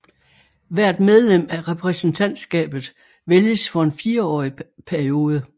Hvert medlem af repræsentantskabet vælges for en fireårig periode